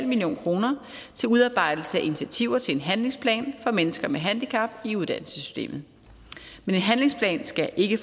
million kroner til udarbejdelse af initiativer til en handlingsplan for mennesker med handicap i uddannelsessystemet men en handlingsplan skal ikke